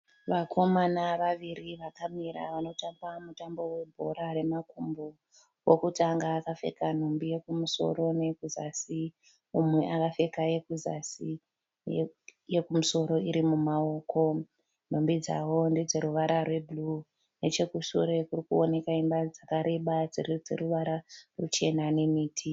Vakomana vaviri vakamira vanotamba mutambo webhora remakumbo. Wokutanga akapfeka nhumbi yokumusoro neyekuzasi, umwe akapfeka yekuzasi yekumusoro iri mumaoko. Nhumbi dzavo ndedzeruvara rwebhuruu. Nechekushure kuri kuoneka imba dzakareba dziri dzeruvara ruchena nemiti.